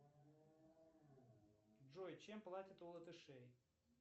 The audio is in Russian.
джой чем платят у латышей